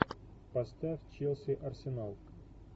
поставь челси арсенал